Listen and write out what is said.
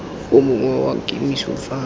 o mongwe wa kemiso fa